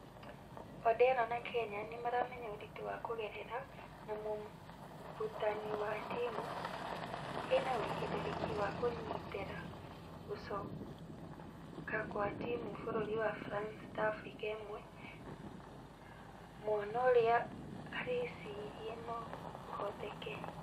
Odero na kenya nĩmaramenya ũritũ wa kũgerera ....na mmũrutani wa timũ ĩnawĩigerereki wa kũnyitera gũcokakwatimũ bũrũri wa france ta africa ĩmwe , muono ũrĩa arĩcirie nũ ũhoteke.